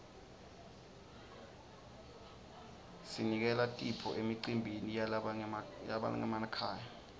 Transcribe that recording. sinikela tipho emicimbini yalabangenamakhaya